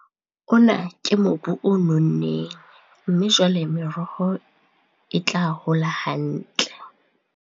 Ona ke mobu o nonneng mme jwale meroho e tla hola hantle.